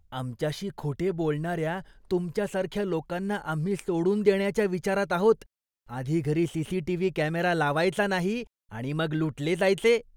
आमच्याशी खोटे बोलणार्या तुमच्या सारख्या लोकांना आम्ही सोडून देण्याच्या विचारात आहोत, आधी घरी सी.सी.टी.व्ही. कॅमेरा लावायचा नाही आणि मग लुटले जायचे.